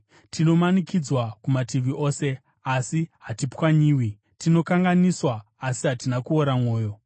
Tinomanikidzwa kumativi ose, asi hatipwanyiwi; tinokanganiswa, asi hatina kuora mwoyo;